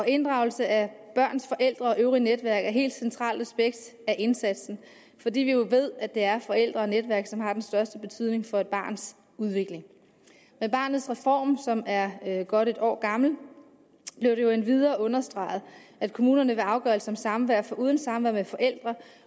inddragelse af børns forældre og øvrige netværk er et helt centralt aspekt af indsatsen fordi vi jo ved at det er forældre og netværk som har den største betydning for et barns udvikling med barnets reform som er godt et år gammel blev det jo endvidere understreget at kommunerne ved afgørelser om samvær foruden samvær med forældre